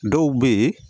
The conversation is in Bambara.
Dɔw bɛ yen